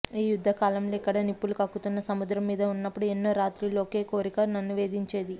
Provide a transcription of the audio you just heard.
ఈ యుద్ధకాలంలో ఇక్కడ నిప్పులు కక్కుతున్న సముద్రం మీద ఉన్నప్పుడు ఎన్నో రాత్రిళ్ళు ఒకే కోరిక నన్ను వేధించేది